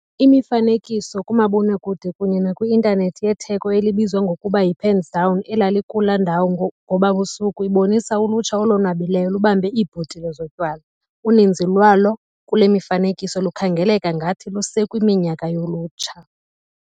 Imifanekiso kamabonakude kunye nakwi-intanethi yetheko elibizwa ngokuba 'yi-pens down' elalikula ndawo ngoba busuku ibonisa ulutsha olonwabileyo lubambe iibhotile zotywala. Uninzi lwalo kule mifanekiso lukhangeleka ngathi lusekwiminyaka yolutsha.